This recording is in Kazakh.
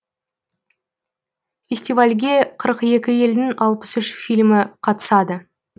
фестивальге қырық екі елдің алпыс үш фильмі қатысады